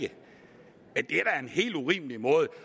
helt urimelig måde